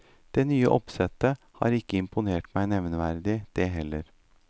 Det nye oppsettet har ikke imponert meg nevneverdig, det heller.